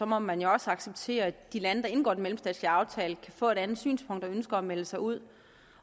må man jo også acceptere at de lande der indgår en mellemstatslig aftale kan få et andet synspunkt og ønske at melde sig ud